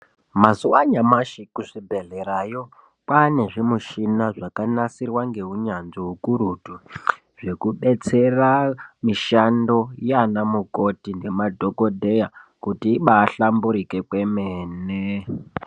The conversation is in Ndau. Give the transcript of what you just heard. Mazuva anyamashi ku zvibhedhlerayo kwane zvi mushina zvaka nasirwa nge unyanzvi ukurutu zveku betsera mishando yana mukoti ne madhokodheya kuti ibai hlamburike kwemene.